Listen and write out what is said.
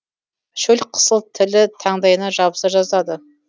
шөл қысып тілі таңдайына жабыса жаздады